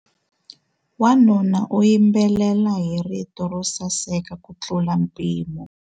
Wanuna u yimbelela hi rito ro saseka kutlula mpimo.